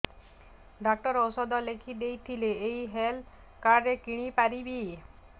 doctor ଔଷଧ ଲେଖିଦେଇଥିଲେ ଏଇ ହେଲ୍ଥ କାର୍ଡ ରେ କିଣିପାରିବି